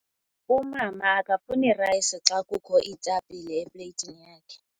Umama akafuni rayisi xa kukho iitapile epleyitini yakhe.